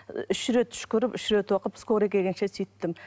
үш рет үшкіріп үш рет оқып скорая келгенше сөйттім